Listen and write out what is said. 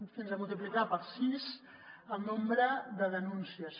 fins a multiplicar per sis el nombre de denúncies